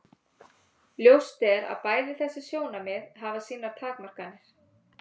Ljóst er að bæði þessi sjónarmið hafa sínar takmarkanir.